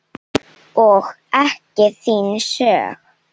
Og ekki þín sök.